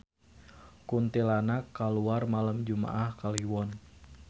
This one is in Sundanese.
Kuntilanak kaluar malem jumaah Kaliwon